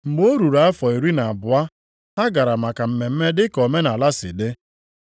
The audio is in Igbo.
Mgbe o ruru afọ iri na abụọ, ha gara maka mmemme dị ka omenaala si dị. + 2:42 Ọ bụ naanị Luk dere banyere Jisọs isonyere ndị mụrụ ya gaa maka mmemme a.